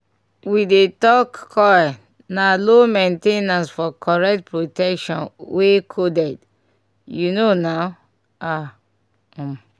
we dey talk coil na low main ten ancefor correct protection wey coded. u know na ah um